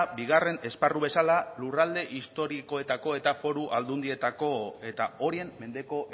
bigarren esparru bezala lurralde historikoetako eta foru aldundietako eta horien mendeko